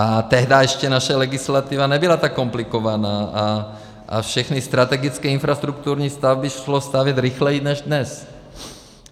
A tehdá ještě naše legislativa nebyla tak komplikovaná a všechny strategické infrastrukturní stavby šlo stavět rychleji než dnes.